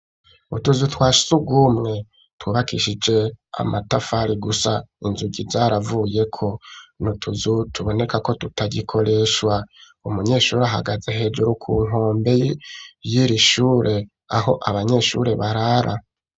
Utuzu twasugumwe tubakishije amatafari gusa inzugi zaravuye ko n'utuzu tuboneka ko tutagikoreshwa umunyeshuri ahagaze hejuru ku nkombe yiri shure aho abanyeshuri barara.